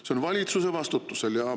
See on valitsuse vastutusel.